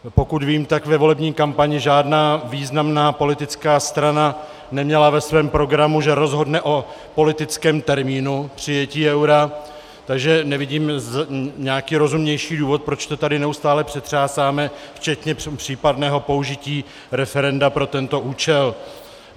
Pokud vím, tak ve volební kampani žádná významná politická strana neměla ve svém programu, že rozhodne o politickém termínu přijetí eura, takže nevidím nějaký rozumnější důvod, proč to tady neustále přetřásáme, včetně případného použití referenda pro tento účel.